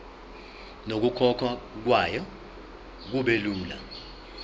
nokukhokhwa kwayo kubelula